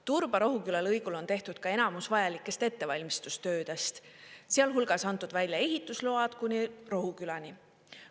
Turba–Rohuküla lõigul on tehtud ka enamus vajalikest ettevalmistustöödest, sealhulgas antud välja ehitusload kuni Rohukülani.